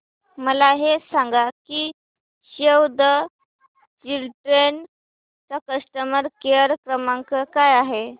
मला हे सांग की सेव्ह द चिल्ड्रेन चा कस्टमर केअर क्रमांक काय आहे